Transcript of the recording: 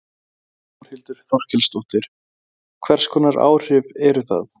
Þórhildur Þorkelsdóttir: Hvers konar áhrif eru það?